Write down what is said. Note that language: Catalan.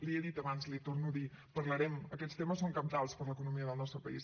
l’hi he dit abans l’hi torno a dir parlarem aquests temes són cabdals per a l’economia del nostre país